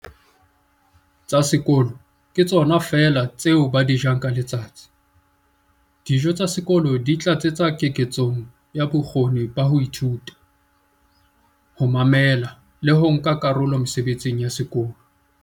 "tsa sekolo ke tsona feela tseo ba di jang ka letsatsi. Dijo tsa sekolo di tlatsetsa keketsong ya bokgoni ba ho ithuta, ho mamela le ho nka karolo mesebetsing ya sekolo".